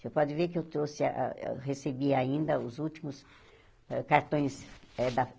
Você pode ver que eu trouxe ah ah eu recebi ainda os últimos ah cartões.